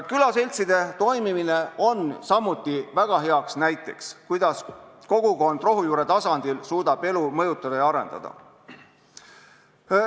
Külaseltside toimimine on samuti väga hea näide selle kohta, kuidas kogukond rohujuure tasandil suudab elu mõjutada ja arendada.